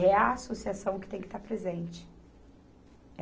É a associação que tem que estar presente.